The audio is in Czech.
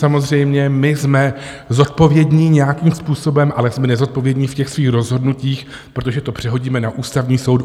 Samozřejmě my jsme zodpovědní nějakým způsobem, ale jsme nezodpovědní v těch svých rozhodnutích, protože to přehodíme na Ústavní soud.